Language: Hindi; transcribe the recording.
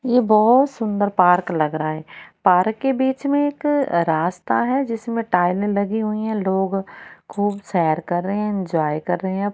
ये बहुत सुंदर पार्क लग रहा है पार्क के बीच में एक रास्ता है जिसमें टाइले लगी हुई है लोग खूब सैर कर रहे हैं एंजॉय कर रहे --